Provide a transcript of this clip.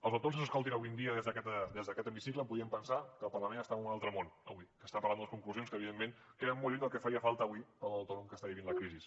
els autònoms que ens escoltin avui en dia des d’aquest hemicicle podrien pensar que el parlament està en un altre món avui que està parlant d’unes conclusions que evidentment queden molt lluny del que faria falta avui per a l’autònom que està vivint la crisi